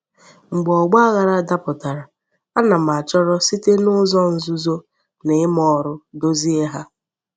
Mgbe ogbaghara daputara, ana m achoro site n'uzo nzuzo na I'ma órú dozie ha.